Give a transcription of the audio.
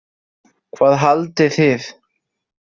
Hvað haldið þið?